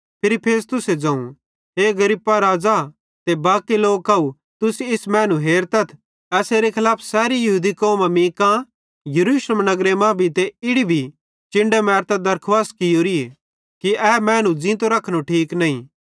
free Festus ज़ोवं हे Agrippa राज़ा ते बाकी लोकव तुस इस मैनू हेरतथ एसेरे खलाफ सैरी यहूदी कौमां मीं कां यरूशलेम नगरे मां भी ते इड़ी भी चिन्डां मैरतां दरखुवास कियोरी थी कि ए मैनू ज़ींतो रखनो ठीक नईं